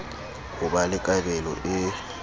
ho ba le kabelo e